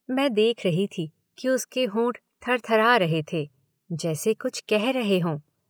मैं देख रही थी कि उसके होंठ थरथरा रहे थे जैसे कुछ कह रहे हों।